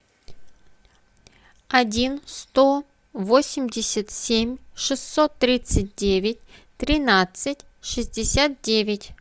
один сто восемьдесят семь шестьсот тридцать девять тринадцать шестьдесят девять